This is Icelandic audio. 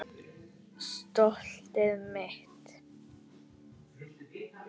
Stoltið mitt.